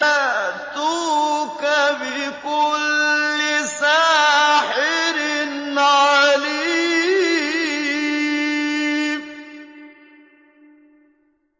يَأْتُوكَ بِكُلِّ سَاحِرٍ عَلِيمٍ